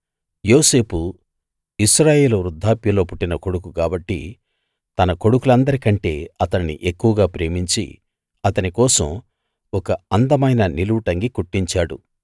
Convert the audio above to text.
యోసేపు ఇశ్రాయేలు వృద్ధాప్యంలో పుట్టిన కొడుకు కాబట్టి తన కొడుకులందరికంటే అతణ్ణి ఎక్కువగా ప్రేమించి అతని కోసం ఒక అందమైన నిలువుటంగీ కుట్టించాడు